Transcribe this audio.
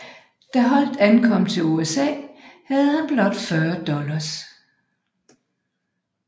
Da Holdt ankom til USA havde han blot 40 dollars